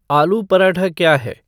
आलू पराठा क्या है